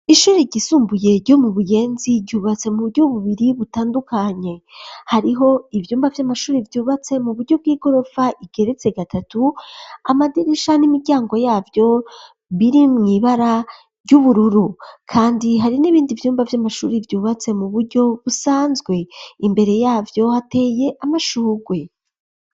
Ishuri ryisumbuye ryo mu buyenzi ,ryubatse mu buryo bubiri butandukanye, hariho ibyumba vy'amashuri vyubatse mu buryo bw'igorofa igeretse gatatu, amaderisha n'imiryango yavyo biri mwibara ry'ubururu, kandi hari n'ibindi Vyumba vy'amashuri, vyubatse mu buryo busanzwe, imbere yabyo hateye amashugwe.